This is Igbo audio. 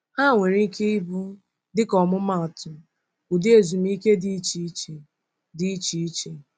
Ha nwere ike ịbụ, dịka ọmụmaatụ, ụdị ezumike dị iche iche. dị iche iche.